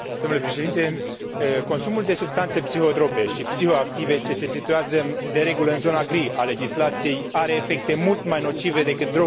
Consumul de substanțe psihotrope și psihoactive ce se situează, de regulă, în zona gri a legislației are efecte mult mai nocive decât drogurile cunoscute până acum.